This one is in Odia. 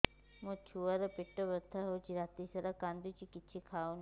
ମୋ ଛୁଆ ର ପେଟ ବଥା ହଉଚି ରାତିସାରା କାନ୍ଦୁଚି କିଛି ଖାଉନି